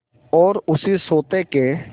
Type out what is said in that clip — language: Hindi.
और उसी सोटे के